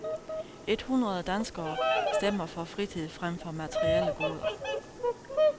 Et hundrede danskere stemmer for fritid frem for materielle goder.